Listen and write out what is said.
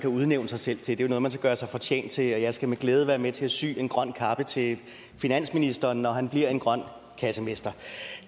kan udnævne sig selv til det er jo noget man skal gøre sig fortjent til og jeg skal med glæde være med til at sy en grøn kappe til finansministeren når han bliver en grøn kassemester